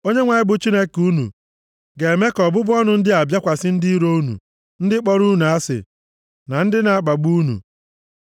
Onyenwe anyị bụ Chineke unu ga-eme ka ọbụbụ ọnụ ndị a bịakwasị ndị iro unu, ndị kpọrọ unu asị na ndị na-akpagbu unu.